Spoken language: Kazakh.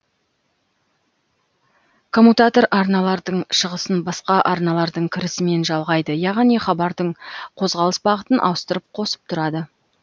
коммутатор арналардың шығысын басқа арналардың кірісімен жалғайды яғни хабардың қозғалыс бағытын ауыстырып қосып тұрады